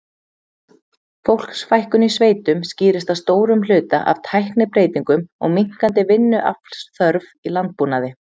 Fólksfækkun í sveitum skýrist að stórum hluta af tæknibreytingum og minnkandi vinnuaflsþörf í landbúnaði.